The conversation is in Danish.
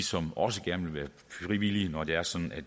som også gerne vil være frivillige når det er sådan at